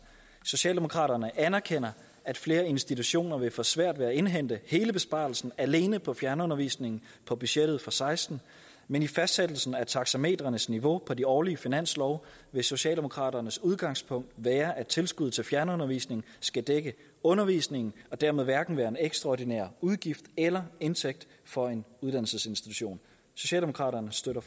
socialdemokraterne anerkender at flere institutioner vil få svært ved at indhente hele besparelsen alene på fjernundervisning på budgettet for seksten men i fastsættelsen af taxametrenes niveau på de årlige finanslove vil socialdemokraternes udgangspunkt være at tilskud til fjernundervisning skal dække undervisning og dermed hverken være en ekstraordinær udgift eller indtægt for en uddannelsesinstitution socialdemokraterne støtter